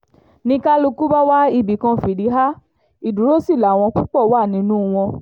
ni kálukú bá wá ibì kan fìdí há ìdúró sí làwọn púpọ̀ wà nínú wọn